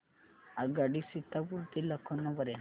आगगाडी सीतापुर ते लखनौ पर्यंत